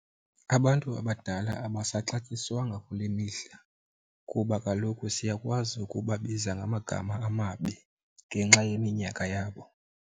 Abantu abadala abasaxatyiswanga kule mihla kuba kaloku siyakwazi ukubabiza ngamagama amabi ngenxa yeminyaka yabo.